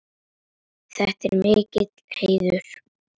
Þetta er mikill heiður.